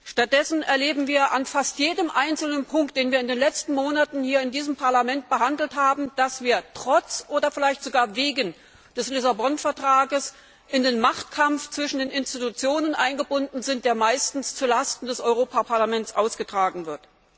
Stattdessen erleben wir an fast jedem einzelnen Punkt, den wir in den letzten Monaten hier in diesem Parlament behandelt haben, dass wir trotz oder vielleicht sogar wegen des Vertrags von Lissabon in den Machtkampf zwischen den Institutionen eingebunden sind, der meistens zulasten des Europäischen Parlaments ausgetragen wird.